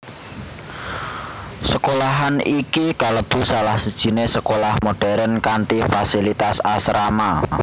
Sekolahan iki kalebu salah sijiné sekolah modern kanthi fasilitas asrama